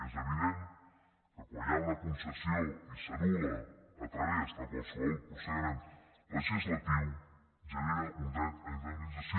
és evident que quan hi ha una concessió i s’anul·la a través de qualsevol procediment legislatiu genera un dret a indemnització